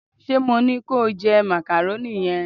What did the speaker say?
se mo ni ko je macaroni yen